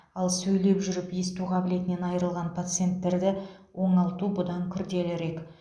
ал сөйлеп жүріп есту қабілетінен айырылған пациенттерді оңалту бұдан күрделірек